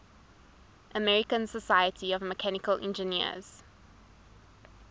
american society of mechanical engineers